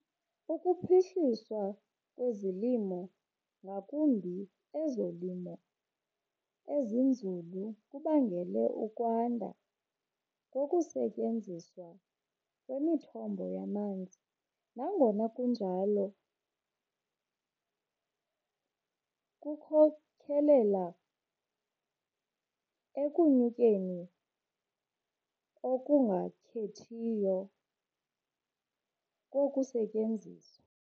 Ukuphuhliswa kwezolimo, ngakumbi ezolimo ezinzulu, kubangele ukwanda kokusetyenziswa kwemithombo yamanzi, nangona kunjalo kukhokelela ekunyukeni okungakhethiyo kokusetyenziswa.